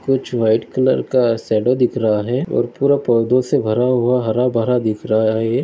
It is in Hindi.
कुछ व्हाइट कलर का सॅडो दिख रहा है और पूरा पौधों से भरा हुआ हरभरा दिख रहा है।